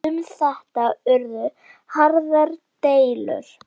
Um þetta urðu harðar deilur.